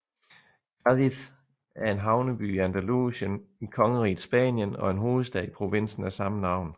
Cádiz er en havneby i Andalusien i kongeriget Spanien og hovedstad i provinsen af samme navn